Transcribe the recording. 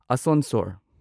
ꯑꯁꯣꯟꯁꯣꯔ